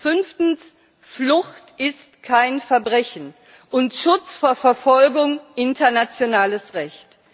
Fünftens Flucht ist kein Verbrechen und Schutz vor Verfolgung internationales Recht.